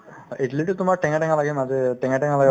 অ, ইদলিতো তোমাৰ টেঙা টেঙা লাগে মাজে টেঙা টেঙা লাগে